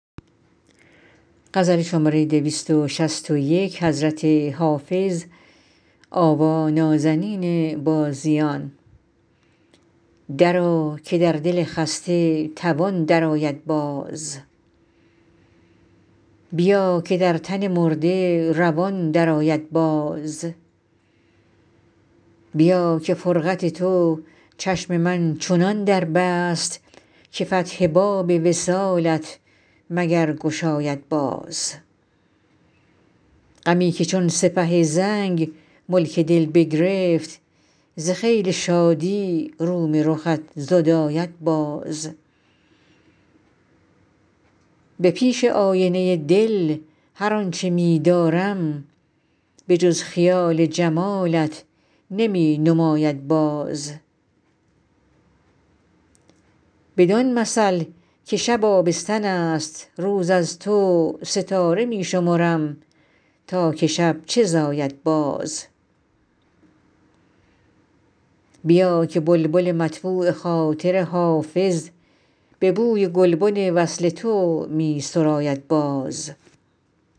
درآ که در دل خسته توان درآید باز بیا که در تن مرده روان درآید باز بیا که فرقت تو چشم من چنان در بست که فتح باب وصالت مگر گشاید باز غمی که چون سپه زنگ ملک دل بگرفت ز خیل شادی روم رخت زداید باز به پیش آینه دل هر آن چه می دارم به جز خیال جمالت نمی نماید باز بدان مثل که شب آبستن است روز از تو ستاره می شمرم تا که شب چه زاید باز بیا که بلبل مطبوع خاطر حافظ به بوی گلبن وصل تو می سراید باز